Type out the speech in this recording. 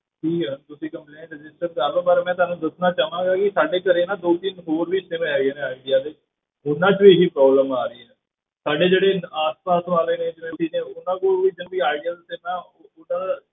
ਜੀ ਤੁਸੀਂ complaint register ਕਰ ਲਵੋ, ਪਰ ਮੈਂ ਤੁਹਾਨੂੰ ਦੱਸਣਾ ਚਾਹਾਂਗਾ ਕਿ ਸਾਡੇ ਘਰੇ ਨਾ ਦੋ ਤਿੰਨ ਹੋਰ ਵੀ sim ਹੈਗੇ ਨੇ ਆਇਡੀਆ ਦੇ, ਉਹਨਾਂ ਵਿੱਚ ਵੀ ਇਹੀ problem ਆ ਰਹੀ ਹੈ, ਸਾਡੇ ਜਿਹੜੇ ਆਸ ਪਾਸ ਵਾਲੇ ਨੇ ਨੇ ਉਹਨਾਂ ਕੋਲ ਵੀ ਏਦਾਂ ਆਇਡੀਆ ਦਾ sim ਹੈ ਉਹਨਾਂ ਦਾ,